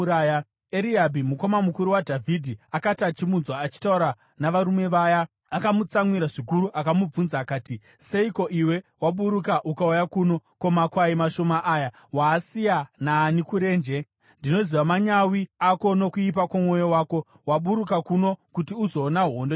Eriabhi, mukoma mukuru waDhavhidhi, akati achimunzwa achitaura navarume vaya, akamutsamwira zvikuru, akamubvunza akati, “Seiko iwe waburuka ukauya kuno? Ko, makwai mashoma aya waasiya naani kurenje? Ndinoziva manyawi ako nokuipa kwomwoyo wako; waburuka kuno kuti uzoona hondo chete.”